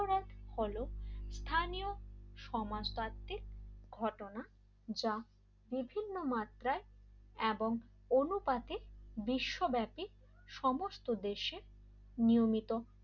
হলো স্থানীয় সমাজতান্ত্রিক ঘটনা যা বিভিন্ন মাত্রায় এবং অনুপাতে বিশ্বব্যাপী সমস্ত দেশে নিয়মিত